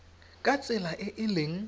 ka tsela e e leng